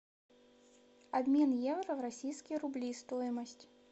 обмен евро в российские рубли стоимость